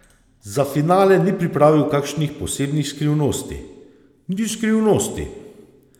Za finale ni pripravil kakšnih posebnih skrivnosti: "Ni skrivnosti.